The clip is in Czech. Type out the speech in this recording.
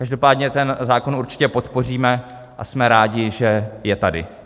Každopádně ten zákon určitě podpoříme a jsme rádi, že je tady.